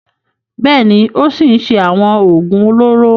Bẹ́ẹ̀ ni, ó ṣì ń ṣe àwọn òògùn olóró.